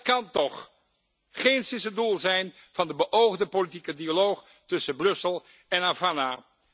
Dat kan toch geenszins het doel zijn van de beoogde politieke dialoog tussen Brussel en Havana!